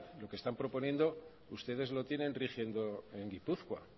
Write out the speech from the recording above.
lo que están proponiendo ustedes lo tienen rigiendo en guipúzcoa